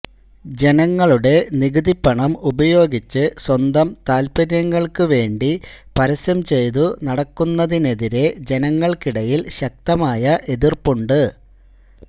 ജനങ്ങളുടെ നികുതി പണം ഉപയോഗിച്ച് സ്വന്തം താൽപര്യങ്ങൾക്കു വേണ്ടി പരസ്യം ചെയ്തു നടക്കുന്നതിനെതിരെ ജനങ്ങൾക്കിടയിൽ ശക്തമായ എതിർപ്പുണ്ട്